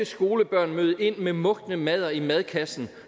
skolebørn møde ind med mugne madder i madkassen